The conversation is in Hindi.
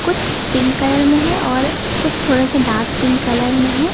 कुछ पिंक कलर में हैं और कुछ थोड़ा सा डार्क पिंक कलर में हैं।